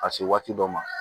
Ka se waati dɔ ma